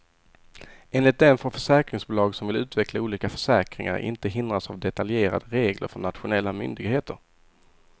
Enligt den får försäkringsbolag som vill utveckla olika försäkringar inte hindras av detaljerade regler från nationella myndigheter.